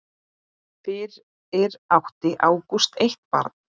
Fyrir átti Ágúst eitt barn.